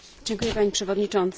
Pani Przewodnicząca!